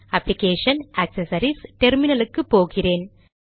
application GD accessories GD terminal க்கு போகிறேன்